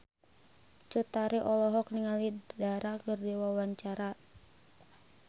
Cut Tari olohok ningali Dara keur diwawancara